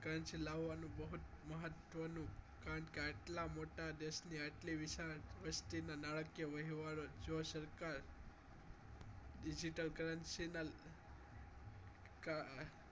Currency લાવવાનું બહુ જ મહત્વનું કારણ કે આટલા મોટા દેશમાં આટલી વિશાળ વસ્તીના નાણા કે વ્યવહાર જો સરકાર digital currency ના કારણે